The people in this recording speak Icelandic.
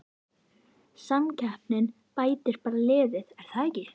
Samkeppnin bætir bara liðið er það ekki?